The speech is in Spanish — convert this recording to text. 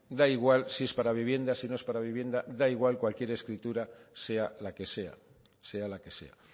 da igual si es para vivienda si no es para vivienda da igual cualquier escritura sea la que sea sea la que sea